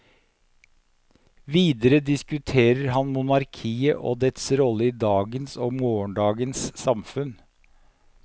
Videre diskuterer han monarkiet og dets rolle i dagens og morgendagens samfunn.